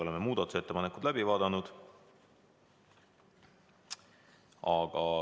Oleme muudatusettepanekud läbi vaadanud.